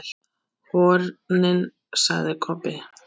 HORNIN, sagði Kobbi.